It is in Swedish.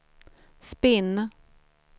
spinn